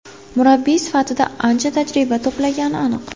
Murabbiy sifatida ancha tajriba to‘plagani aniq.